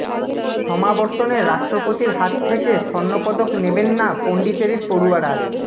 সমাবর্তনে রাষ্ট্রপতির হাত থেকে স্বর্ণপদক নেবেন না পন্ডিচেরির পড়ুয়ারা